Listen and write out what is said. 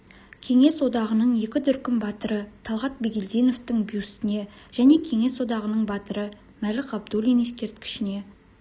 кеңес одағының екі дүркін батыры талғат бигелдиновтің бюстіне және кеңес одағының батыры мәлік ғабдуллин ескерткішіне